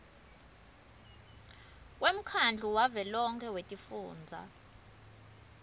kwemkhandlu wavelonkhe wetifundza